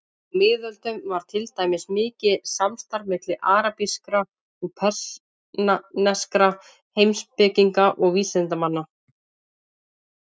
Á miðöldum var til dæmis mikið samstarf milli arabískra og persneskra heimspekinga og vísindamanna.